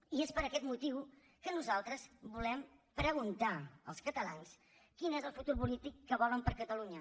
i és per aquest motiu que nosaltres volem preguntarals catalans quin és el futur polític que volen per a catalunya